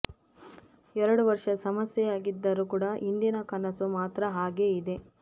ಎರಡು ವರ್ಷ ಸಮಸ್ಯೆಯಾಗಿದ್ದರು ಕೂಡಾ ಹಿಂದಿನ ಕನಸು ಮಾತ್ರ ಹಾಗೇ ಇದೆ